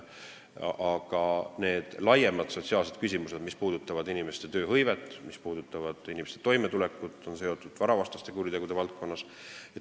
Aga laiemad sotsiaalsed küsimused, mis puudutavad inimeste tööhõivet ja toimetulekut, on seotud varavastaste kuritegude valdkonnaga.